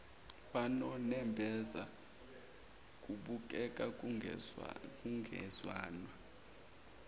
banonembeza kubukeka kungezwanwa